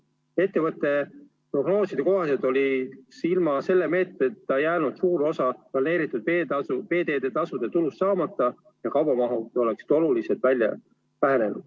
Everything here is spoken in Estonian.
Ettevõtte prognooside kohaselt oleks ilma selle meetmeta jäänud suur osa planeeritud veeteede tasu tulust saamata ja kaubamahud oleksid oluliselt vähenenud.